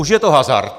Už je to hazard.